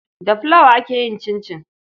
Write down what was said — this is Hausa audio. Da fulawa ake yin cincin.